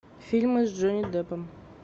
фильмы с джонни деппом